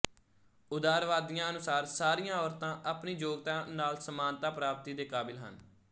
ਉਦਾਰਵਾਦੀਆਂ ਅਨੁਸਾਰ ਸਾਰੀਆਂ ਔਰਤਾਂ ਆਪਣੀ ਯੋਗਤਾ ਨਾਲ ਸਮਾਨਤਾ ਪ੍ਰਾਪਤੀ ਦੇ ਕਾਬਿਲ ਹਨ